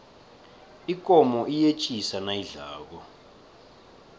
ikomo iyetjisa nayidlako